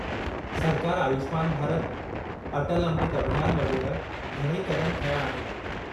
सरकार आयुष्मान भारत, अटल अमृत अभियान वगै़रह घणई क़दम खंया आहिनि।